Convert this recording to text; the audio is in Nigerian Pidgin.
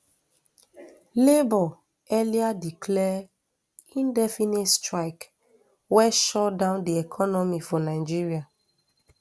labour earlier declare indefinite strike wey shutdown di economy for nigeria